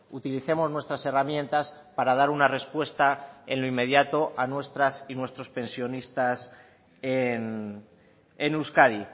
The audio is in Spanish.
utilicemos nuestras herramientas para dar una respuesta en lo inmediato a nuestras y nuestros pensionistas en euskadi